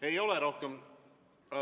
Ei ole rohkem ...